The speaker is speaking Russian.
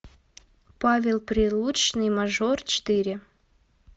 павел прилучный мажор четыре